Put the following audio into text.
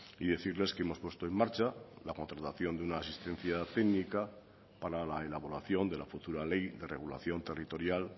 y decirles que hemos puesto en marcha la contratación de una asistencia técnica para la elaboración de la futura ley de regulación territorial